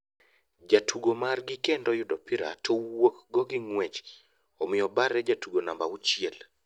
Jatugo mar gi kendo yudo opira to wuok go gi nguech ,omiyo Obare jatugo namba auchiel ,